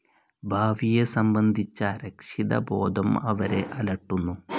ഭാവിയെ സംബന്ധിച്ച അരക്ഷിതബോധം അവരെ അലട്ടുന്നു.